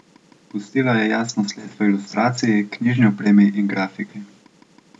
Pustila je jasno sled v ilustraciji, knjižni opremi in grafiki.